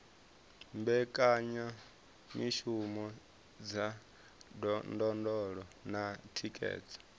mbekanyamishumo dza ndondolo na thikhedzo